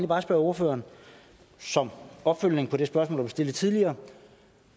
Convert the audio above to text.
bare spørge ordføreren som opfølgning på det spørgsmål stillet tidligere